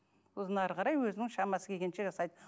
сосын әрі қарай өзінің шамасы келгенше жасайды